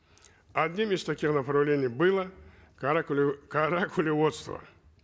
одним из таких направлений было каракулеводство